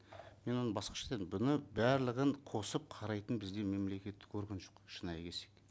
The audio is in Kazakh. мен оны басқаша дедім бұны барлығын қосып қарайтын бізде мемлекеттік орган жоқ шынайы келсек